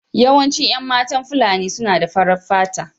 Yawancin 'yan matan Fulani suna da farar fata.